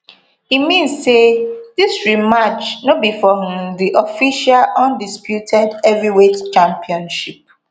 e mean say dis rematch no be for um di official undisputed heavyweight championship